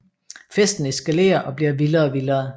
Festen eskalerer og bliver vildere og vildere